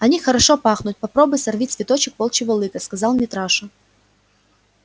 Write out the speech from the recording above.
они хорошо пахнут попробуй сорви цветочек волчьего лыка сказал митраша